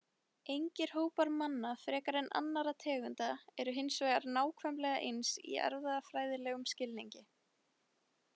Engir hópar manna frekar en annarra tegunda eru hins vegar nákvæmlega eins í erfðafræðilegum skilningi.